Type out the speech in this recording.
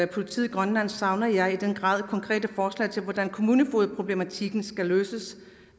politiet i grønland savner jeg også i den grad konkrete forslag til hvordan kommunefogedproblematikken skal løses